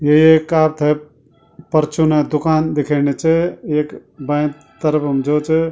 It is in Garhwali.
यु येक आपथै क परचूने दुकान दिख्येणि च एक बै तरफम जो च।